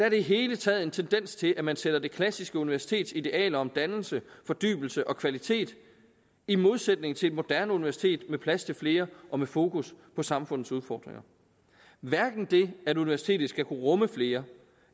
i det hele taget en tendens til at man sætter det klassiske universitets idealer om dannelse fordybelse og kvalitet i modsætning til et moderne universitet med plads til flere og med fokus på samfundets udfordringer hverken det at universitetet skal kunne rumme flere